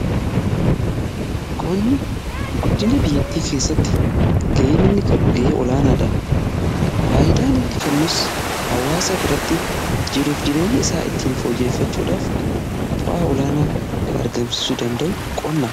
Qonni guddina biyyattii keessatti ga'een inni qabu ga'ee olaanaa dha . Faayyidaan inni kennus hawaasa biratti jiruuf jireenya isaa ittiin fooyyeffachuudhaaf bu'aa olaanaa kan argamsiisu danda'u qonnaa.